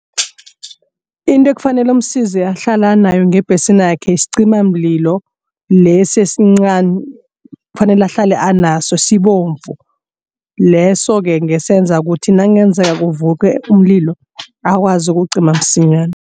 Into ekufanele msiza ahlale nayo ngebhesinakhe sicimamlilo lesi esincani kufanele ahlale anaso sibomvu. Leso-ke ngesenza ukuthi nakungenzeka kuvuke umlilo akwazi ukuwucima msinyana.